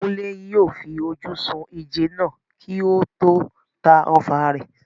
Kunle yóò fi ojú sun ìjẹ náà kí ó tó ta ọfà rẹ̀.